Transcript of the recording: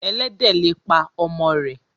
Ẹlẹ́dẹ̀ le pa ọmọ rẹ̀.